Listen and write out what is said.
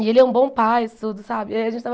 E ele é um bom pai e tudo, sabe? E aí a gente estava